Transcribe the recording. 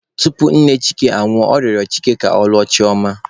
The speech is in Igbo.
Tupu nne Chike anwụọ, ọ rịọrọ Chike ka ọ lụọ Chioma..